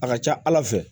A ka ca ala fɛ